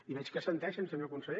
i veig que assenteixen senyor conseller